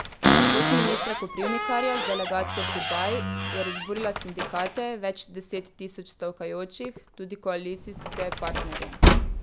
Pot ministra Koprivnikarja z delegacijo v Dubaj je razburila sindikate, več deset tisoč stavkajočih, tudi koalicijske partnerje.